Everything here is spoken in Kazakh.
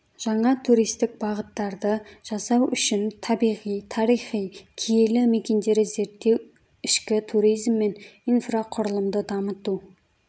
жаңа туристік бағыттарды жасау үшін табиғи тарихи киелі мекендері зерттеу ішкі туризм мен инфрақұрылымды дамыту